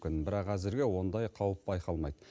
бірақ әзірге ондай қауіп байқалмайды